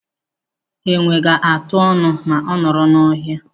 Ewi ga-atụ ọnụ ma ọ nọrọ n'ohia.